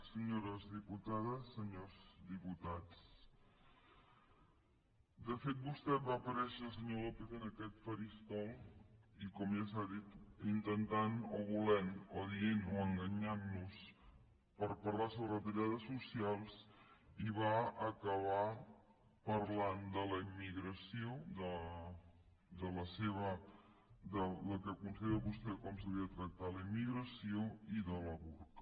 senyores diputades senyors diputats de fet vostè va aparèixer senyor lópez en aquest faristol i com ja s’ha dit intentant o volent o dient o enganyant nos per parlar sobre retallades socials i va acabar parlant de la immigració del que considera vostè com s’hauria de tractar la immigració i del burca